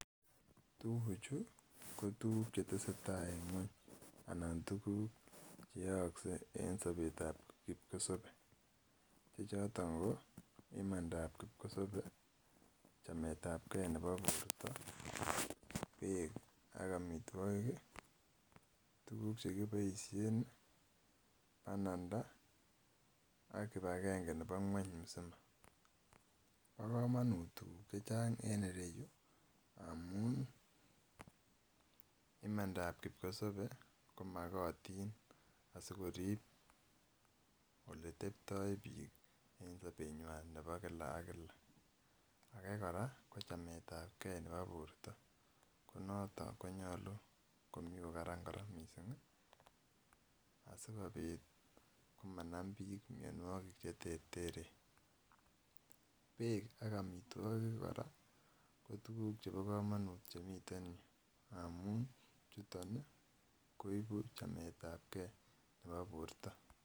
Tuguk Chu ko tuguk chetesetai en ngweny anan tuguk chyaakse en Sabet ak kikosabe chechoton ko imandab kikosabe chamet ab gei Nebo borto bek ak amitwokik tuguk chekibaishen ,Bananda AK kibagenge Nebo ngwany msima bakamanut tuguk chechang en ireyu amun amndab kipkosabe komakatinb asikorib oletebtoi bik en sabenywan Nebo kila k kila age koraa ko chamet ab gei Nebo borta noton konyalu Komi kokaran mising asikobit komanam bik mianwakik en bek ak amitwokik koraa kotuguu chebo kamanut Chemiten yoton amun chuton koibu chamet ab gei Nebo borta